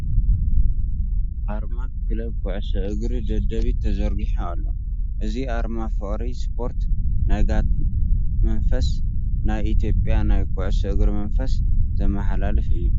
ኣርማ ክለብ ኩዕሶ እግሪ ደደቢት ተዘርጊሑ ኣሎ። እዚ ኣርማ ፍቕሪ ስፖርት፣ ናይ ጋንታ መንፈስ፣ ናይ ኢትዮጵያ ናይ ኩዕሶ እግሪ መንፈስ ዘመሓላልፍ እዩ።